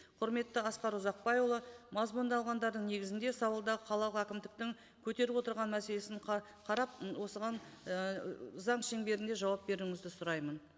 құрметті асқар ұзақбайұлы мазмұндалғандардың неігзінде сауалда қала әкімдіктің көтеріп отырған мәселесін қарап осыған ііі заң шеңберінде жауап беруіңізді сұраймын